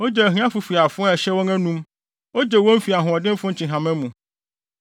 Ogye ahiafo fi afoa a ɛhyɛ wɔn anom; ogye wɔn fi ahoɔdenfo nkyehama mu.